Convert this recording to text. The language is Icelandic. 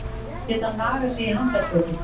Geta nagað sig í handarbökin